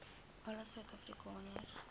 alle suid afrikaners